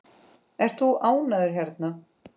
Ert þú ánægður hérna?